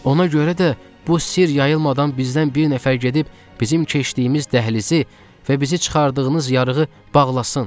Ona görə də bu sir yayılmadan bizdən bir nəfər gedib bizim keçdiyimiz dəhlizi və bizi çıxardığınız yarığı bağlasın.